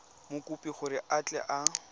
mokopi gore a tle a